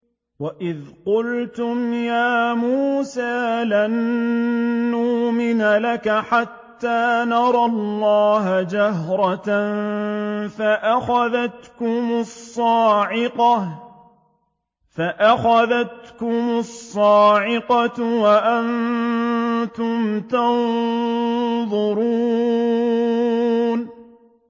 وَإِذْ قُلْتُمْ يَا مُوسَىٰ لَن نُّؤْمِنَ لَكَ حَتَّىٰ نَرَى اللَّهَ جَهْرَةً فَأَخَذَتْكُمُ الصَّاعِقَةُ وَأَنتُمْ تَنظُرُونَ